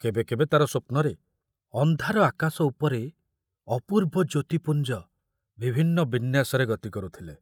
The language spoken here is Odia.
କେବେ କେବେ ତାର ସ୍ବପ୍ନରେ ଅନ୍ଧାର ଆକାଶ ଉପରେ ଅପୂର୍ବ ଜ୍ୟୋତିପୁଞ୍ଜ ବିଭିନ୍ନ ବିନ୍ୟାସରେ ଗତି କରୁଥିଲେ।